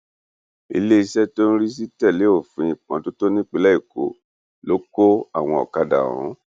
iléeṣẹ tó ń rí sí títẹlé òfin ìmọtótó nípínlẹ èkó ló kọ àwọn ọkadà ọhún